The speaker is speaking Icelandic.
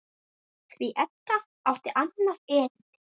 Því Edda átti annað erindi.